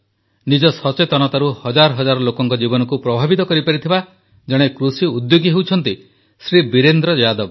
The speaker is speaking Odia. ନିଜ ସଚେତନତାରୁ ହଜାର ହଜାର ଲୋକଙ୍କ ଜୀବନକୁ ପ୍ରଭାବିତ କରିପାରିଥିବା ଜଣେ କୃଷିଉଦ୍ୟୋଗୀ ହେଉଛନ୍ତି ଶ୍ରୀ ବୀରେନ୍ଦ୍ର ଯାଦବ